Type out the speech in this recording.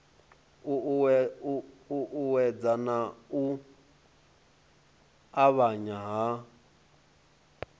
uuwedzwa nga u avhanya ha